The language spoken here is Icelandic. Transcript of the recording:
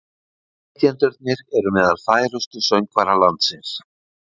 Flytjendurnir eru meðal færustu söngvara landsins